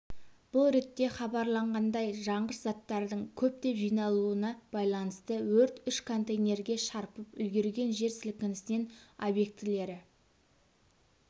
бұл ретте хабарлағандай жанғыш заттардың көптеп жиналуына байланысты өрт үш контейнерге шарпып үлгерген жер сілкінісінен объектілері